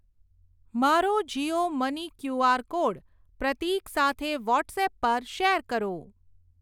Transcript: મારો Jio money QR code પ્રતીક સાથે વોટ્સએપ પર શેર કરો.